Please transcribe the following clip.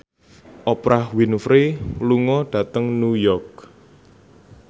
Oprah Winfrey lunga dhateng New York